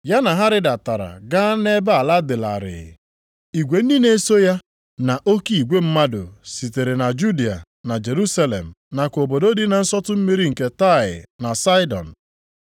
Ya na ha rịdatara ga nʼebe ala dị larịị. Igwe ndị na-eso ụzọ ya na oke igwe mmadụ sitere na Judịa, na Jerusalem nakwa obodo dị na nsọtụ mmiri nke Taịa na Saịdọn.